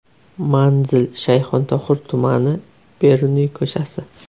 Manzil: Shayxontohur tumani, Beruniy ko‘chasi.